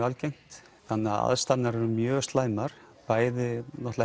algengt þannig aðstæður eru mjög slæmar bæði